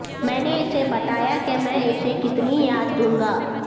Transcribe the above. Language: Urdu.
میں نے اسے بتایا کہ میں اسے کتنی یاد دوں گا